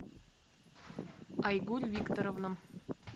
айгуль викторовна